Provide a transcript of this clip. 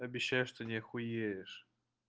обещаю что не охуеешь